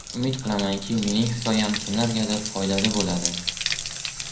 Umid qilamanki, mening hikoyam kimlargadir foydali bo‘ladi.